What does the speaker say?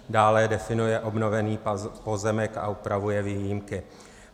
Dále definuje obnovený pozemek a upravuje výjimky.